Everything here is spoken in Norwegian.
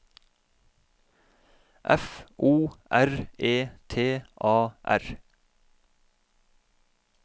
F O R E T A R